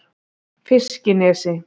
Fiskinesi